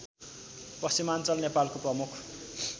पश्चिमाञ्चल नेपालको प्रमुख